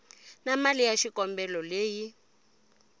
na mali ya xikombelo leyi